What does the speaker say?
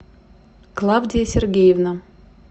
клавдия сергеевна